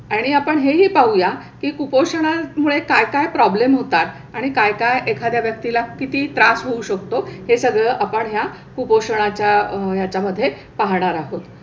आणि आपण हेही पाहूया की कुपोषणामुळे काय काय प्रॉब्लेम होतात आणि काय काय एखाद्या व्यक्तीला किती त्रास होऊ शकतो हे सगळं आपण ह्या कुपोषणाच्या ह्याच्यामध्ये पाहणार आहोत.